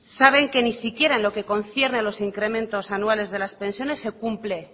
saben que ni siquiera en lo que concierne a los incrementos anuales de las pensiones se cumple